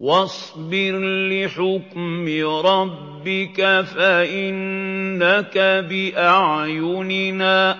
وَاصْبِرْ لِحُكْمِ رَبِّكَ فَإِنَّكَ بِأَعْيُنِنَا ۖ